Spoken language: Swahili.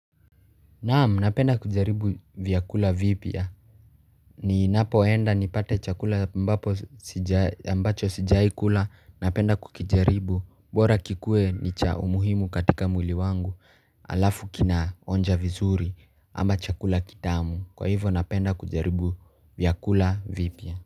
Naam napenda kujaribu vyakula vipya ni napoenda nipate chakula ambapo ambacho sijawahikula napenda kukijaribu bora kikuwe ni cha umuhimu katika mwili wangu alafu kina onja vizuri ama chakula kitamu kwa hivyo napenda kujaribu vyakula vipya.